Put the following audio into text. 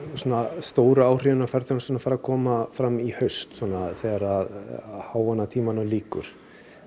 stóru áhrifin á ferðaþjónustuna fari að koma fram í haust svona þegar að háannatímanum lýkur